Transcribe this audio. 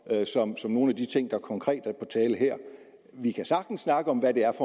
som for nogle af de ting der konkret er på tale her vi kan sagtens snakke om hvad det er